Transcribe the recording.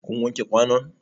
Kun wanke kwanun?